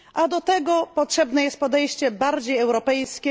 Do tego potrzebne jest podejście bardziej europejskie.